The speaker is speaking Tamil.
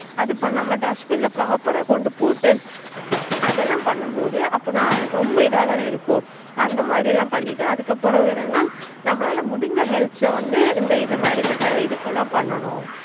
அது பண்ணுநம்ம proper ஆஹ் கொண்டு போட்டு அதலாம் பண்ணும்போது நான் ரொம்ப இதாதானே இருக்கும் அந்த மாதிரிலாம் பண்ணிட்டு அதுக்கு அப்புறம் என்னனா நம்மளால முடிஞ்சா helps வந்து இந்தமாதிரி பண்ணனும்